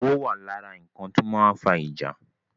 Owó wà lára nkan ti ó máa ń fa ìjà